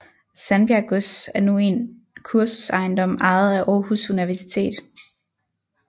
Sandbjerg Gods er nu en kursusejendom ejet af Aarhus Universitet